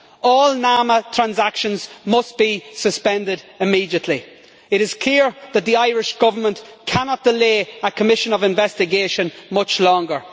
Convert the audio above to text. All NAMA transactions must be suspended immediately. It is clear that the Irish Government cannot delay a commission of investigation much longer.